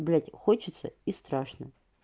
блядь хочется и страшно